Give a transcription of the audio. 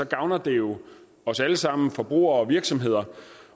gavner det jo os alle sammen forbrugere og virksomheder